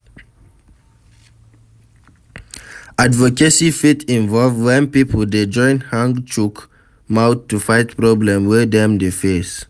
Advocacy fit involve when pipo dey join hang chook mouth to fight problem wey dem dey face